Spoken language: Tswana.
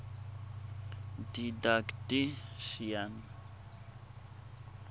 didactician